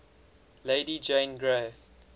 lady jane grey